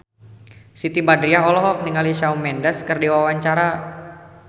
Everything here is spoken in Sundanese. Siti Badriah olohok ningali Shawn Mendes keur diwawancara